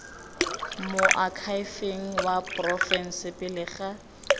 moakhaefeng wa porofense pele ga